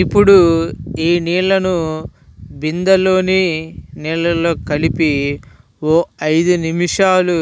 ఇప్పుడు ఈ నీళ్లను బిందెలోని నీళ్లలో కలిపి ఓ ఐదు నిమిషాలు